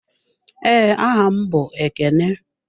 Ee, aha m bụ Ekene.